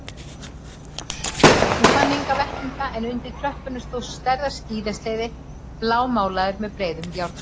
Hún fann enga vettlinga en undir tröppunum stóð stærðar skíðasleði blámálaður með breiðum járnum.